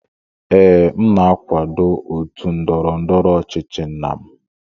Ee, m na-akwado otu ndọrọ ndọrọ ọchịchị nna m